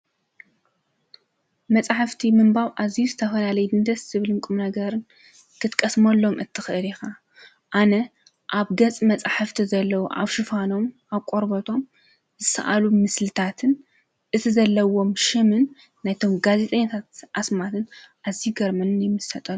መጻሕፍቲ ምምባው ኣዚዩ ዝተፈናለይ ድንተት ስብልምኩም ነገርን ኽትቀስሞኣሎም እትኽእሬኻ ኣነ ኣብ ገጽ መጻሕፍቲ ዘለዉ ኣብ ሹፋኖም ኣብ ቖርበቶም ዝሰኣሉ ምስልታትን እቲ ዘለዎም ሹምን ናይቶም ጋዜ ጠኔታት ኣስማትን ኣዚይ ገርመንን ይምሰጠ።